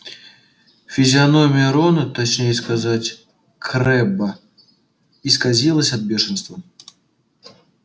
физиономия рона точнее сказать крэбба исказилась от бешенства